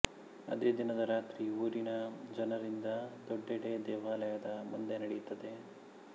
ಅದೇದಿನದ ರಾತ್ರಿ ಊರಿನ ಜನರಿಂದ ದೊಡ್ಡೆಡೆ ದೇವಾಲಯದ ಮುಂದೆ ನಡೆಯುತ್ತದೆ